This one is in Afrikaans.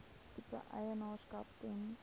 tipe eienaarskap ten